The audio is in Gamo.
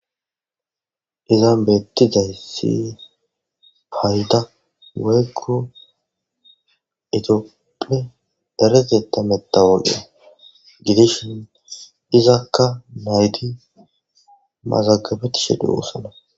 izan bettidayssi hayda weykko itopphe dareteta metawoke gidishin izakka naytti mazagabetishe de7osana